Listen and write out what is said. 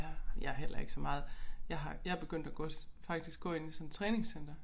Ja jeg heller ikke så meget jeg har jeg begyndt at gå faktisk gå inde i sådan træningscenter